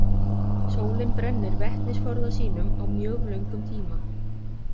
Sólin brennir vetnisforða sínum á mjög löngum tíma.